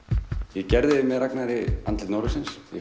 ég gerði með Ragnari andlit norðursins í